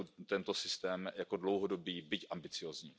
tento systém jako dlouhodobý, byť ambiciózní.